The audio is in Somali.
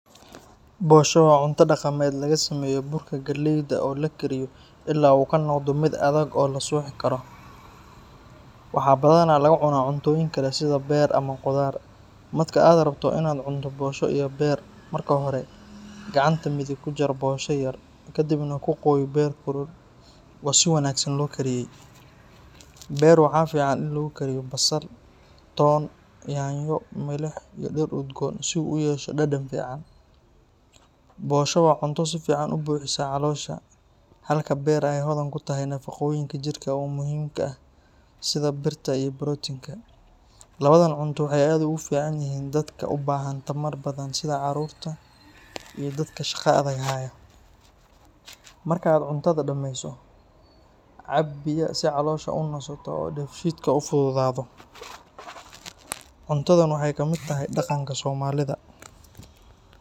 Bosho waa cunto dhaqameed laga sameeyo burka galleyda oo la kariyo ilaa uu ka noqdo mid adag oo la suuxi karo. Waxaa badanaa lagu cunaa cuntooyin kale sida beer ama khudaar. Marka aad rabto in aad cunto bosho iyo beer, marka hore gacanta midig ku jar bosho yar, ka dibna ku qooy beer kulul oo si wanaagsan loo kariyay. Beer waxaa fiican in lagu kariyo basal, toon, yaanyo, milix iyo dhir udgoon si uu u yeesho dhadhan fiican. Bosho waa cunto si fiican u buuxisa caloosha, halka beer ay hodan ku tahay nafaqooyinka jirka u muhiimka ah sida birta iyo borotiinka. Labadan cunto waxay aad ugu fiican yihiin dadka u baahan tamar badan sida carruurta iyo dadka shaqo adag haya. Marka aad cuntada dhameyso, cab biyo si caloosha u nasato oo dheefshiidka u fududaado. Cuntadan waxay ka mid tahay dhaqanka soomaalida.